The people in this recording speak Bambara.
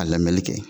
A lamɛnni kɛ